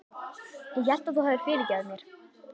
Ég hélt að þú hefðir fyrirgefið mér.